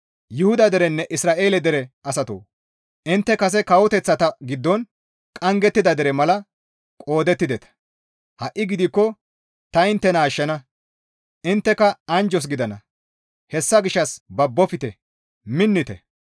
Yuhuda derenne Isra7eele dere asatoo! Intte kase kawoteththata giddon qanggettida dere mala qoodettideta; ha7i gidikko ta inttena ashshana; intteka anjjos gidana; hessa gishshas babbofte; minnite.